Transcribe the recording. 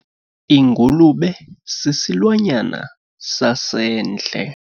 Ingulube sisilwanyana sasendle.